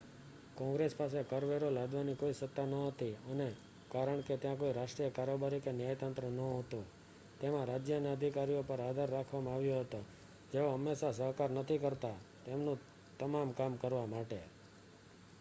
કોંગ્રેસ પાસે કર વેરો લાદવાની કોઈ સત્તા ન હતી અને કારણ કે ત્યાં કોઈ રાષ્ટ્રીય કારોબારી કે ન્યાયતંત્ર ન હોતું તેમાં રાજ્યના અધિકારીઓ પર આધાર રાખવામાં આવ્યો હતો જેઓ હંમેશા સહકાર નથી કરતા તેમનું તમામ કામ કરવા માટે